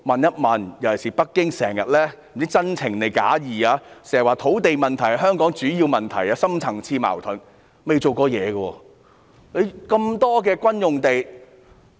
北京不知是出於真情還是假意，經常指土地問題是香港的主要問題和深層次矛盾，但卻未曾做過任何工作。